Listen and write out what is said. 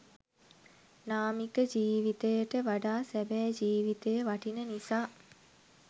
නාමික ජීවිතයට වඩා සැබෑ ජීව්තය වටින නිසා.